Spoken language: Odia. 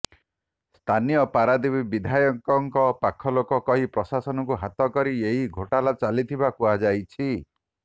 ସ୍ଥାନୀୟ ପାରାଦ୍ୱୀପ ବିଧାୟକଙ୍କ ପାଖ ଲୋକ କହି ପ୍ରଶାସନକୁ ହାତ କରି ଏହି ଘୋଟାଲା ଚାଲିଥିବା କୁହାଯାଇଛି